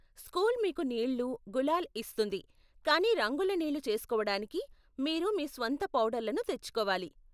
School మీకు నీళ్ళు, గులాల్ ఇస్తుంది, కానీ రంగుల నీళ్ళు చేసుకోవటానికి మీరు మీ స్వంత పౌడర్లను తెచ్చుకోవాలి.